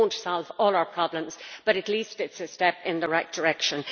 It will not solve all our problems, but at least it is a step in the right direction.